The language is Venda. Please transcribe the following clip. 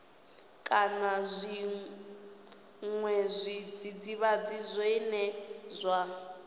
kana zwiṅwe zwidzidzivhadzi zwine zwa